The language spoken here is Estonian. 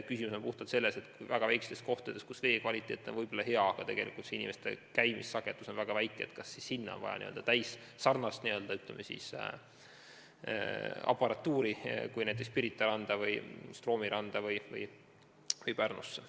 Küsimus on puhtalt selles, kas väga väikestes kohtades, kus vee kvaliteet on hea, aga inimesi käib vähe, on vaja n-ö täisvarustust kui Pirita rannas, Stroomi rannas või Pärnus.